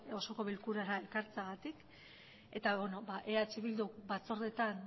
osoko bilkurara ekartzeagatik eta eh bilduk batzordetan